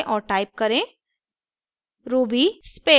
अब टर्मिनल खोलें और टाइप करें